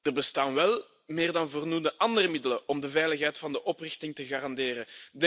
Er bestaan wel meer dan voldoende andere middelen om de veiligheid van de oprichting te garanderen.